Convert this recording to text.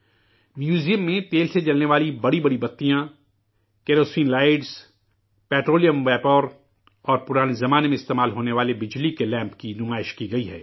museum میں، تیل سے جلنے والی بڑی بڑی لائٹیں ، کیروسین لائٹ ، پٹرولیم ویپراور قدیم زمانے میں استعمال ہونے والے بجلی کے لیمپ کی نمائش کی گئی ہے